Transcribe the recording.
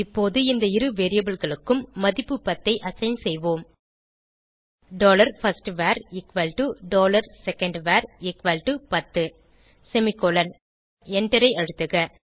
இப்போது இந்த இரு variableகளுக்கும் மதிப்பு 10 ஐ அசைன் செய்வோம் dollar first var equal to dollar second var equal to பத்து செமிகோலன் எண்டரை அழுத்துக